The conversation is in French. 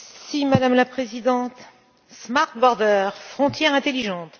Madame la Présidente, smart borders, frontières intelligentes...